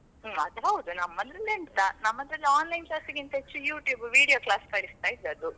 ಹ್ಮ್ ಅದ್ ಹೌದ್. ನಮ್ಮ್ದರಲ್ಲಿ ಎಂತ ನಮ್ಮಲಿ Online class ಗಿಂತ ಹೆಚ್ಚು YouTube video class ಕಳಿಸ್ತಾ ಇದ್ದದು.